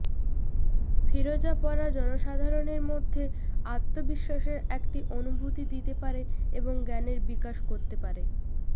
ফিরোজা পরা জনসাধারণের মধ্যে আত্মবিশ্বাসের একটি অনুভূতি দিতে পারে এবং জ্ঞানের বিকাশ করতে পারে